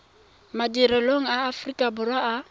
madirelong a aforika borwa a